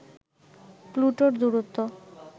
প্লুটোর দূরত্ব